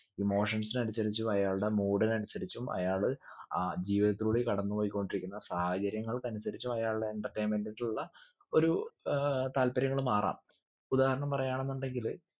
emotions നെ അനുസരിച്ചും അയാൾടെ mood ന് അനുസരിച്ചും അയാള് അഹ് ജീവിതത്തിലൂടെ കടന്ന് പോയിക്കൊണ്ടിരിക്കുന്ന സാഹചര്യങ്ങൾക്കനുസരിച്ചും അയാൾടെ entertainment നുള്ള ഒരു ഏർ താല്പര്യങ്ങള് മാറാം ഉദാഹരണം പറയുവാണെന്നുണ്ടെങ്കില്